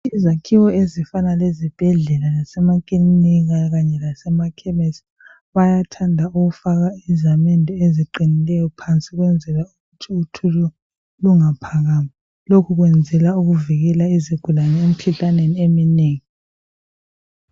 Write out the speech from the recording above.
Izakhiwo ezifana lezibhedlela lasemakilinika, kanye lasemakhemesi. Bayathanda ukufaka izamende eziqinileyo phansi, ukwenzela ukuthi uthuli lungaphakami. Lokhu kwenzelwa ukuvikela izigulane, emikhuhlaneni eminengi.